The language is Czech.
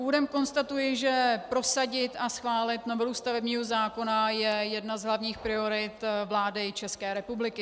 Úvodem konstatuji, že prosadit a schválit novelu stavebního zákona je jedna z hlavních priorit vlády České republiky.